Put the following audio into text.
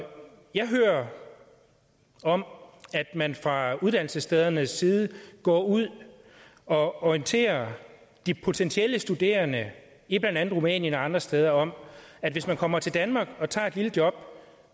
når jeg hører om at man fra uddannelsesstedernes side går ud og orienterer de potentielle studerende i blandt andet rumænien og andre steder om at hvis de kommer til danmark og tager et lille job